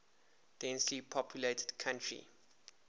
densely populated country